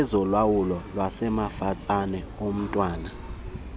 kwezolawulo wasemafatsane omntwana